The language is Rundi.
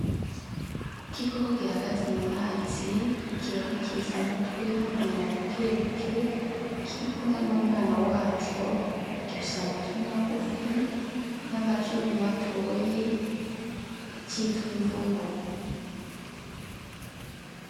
Igikoko gihagaze mu mazi kibonekesha umutwe n'umunwa bukebuke, kiri kumwe n'umwana waco. Gifise amatwi magufu, n'amazuru matoyi, citwa imvubu.